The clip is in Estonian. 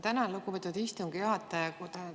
Tänan, lugupeetud istungi juhataja!